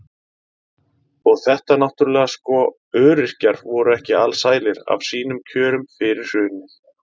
Og þetta náttúrulega sko, öryrkjar voru ekki alsælir af sínum kjörum fyrir hrunið.